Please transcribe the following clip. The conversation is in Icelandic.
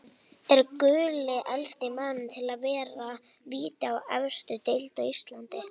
Er Gulli elsti maðurinn til að verja víti í efstu deild á Íslandi?